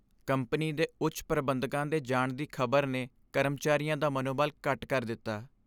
Company ਦੇ ਉੱਚ ਪ੍ਰਬੰਧਕਾਂ ਦੇ ਜਾਣ ਦੀ ਖ਼ਬਰ ਨੇ ਕਰਮਚਾਰੀਆਂ ਦਾ ਮਨੋਬਲ ਘੱਟ ਕਰ ਦਿੱਤਾ ।